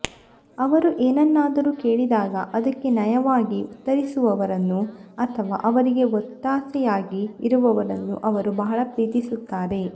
ಅವರು ಏನನ್ನಾದರೂ ಕೇಳಿದಾಗ ಅದಕ್ಕೆ ನಯವಾಗಿ ಉತ್ತರಿಸುವವರನ್ನು ಅಥವಾ ಅವರಿಗೆ ಒತ್ತಾಸೆಯಾಗಿ ಇರುವವರನ್ನು ಅವರು ಬಹಳ ಪ್ರೀತಿಸುತ್ತಾರೆ